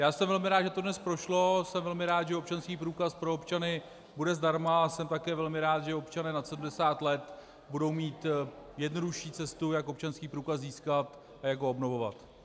Já jsem velmi rád, že to dnes prošlo, jsem velmi rád, že občanský průkaz pro občany bude zdarma, a jsem také velmi rád, že občané nad 70 let budou mít jednodušší cestu, jak občanský průkaz získat a jak ho obnovovat.